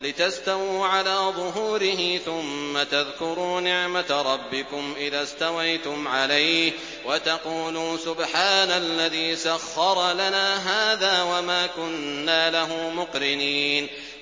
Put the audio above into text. لِتَسْتَوُوا عَلَىٰ ظُهُورِهِ ثُمَّ تَذْكُرُوا نِعْمَةَ رَبِّكُمْ إِذَا اسْتَوَيْتُمْ عَلَيْهِ وَتَقُولُوا سُبْحَانَ الَّذِي سَخَّرَ لَنَا هَٰذَا وَمَا كُنَّا لَهُ مُقْرِنِينَ